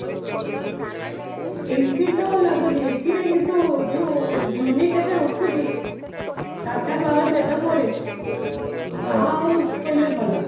AC ତ ଲାଗୁଛି AC ରେ ହେତୁ ଏବେ ଯୋଉ unit ଏବେ ଉଠୁଛି tata power ନେବା ପରେ ହଁ ଆଉ ନ କହିଲେ ଭଲ